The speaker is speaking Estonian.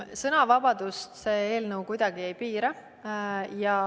Sõnavabadust see eelnõu kuidagi ei piira.